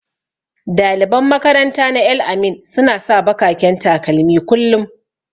Daliban makaranta na El-amin suna sa bakaken takalmi kullum.